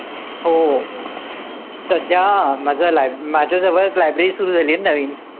हो. सध्या, माझ्या लाय माझ्याजवळच library सुरु झालीये ना नवीन.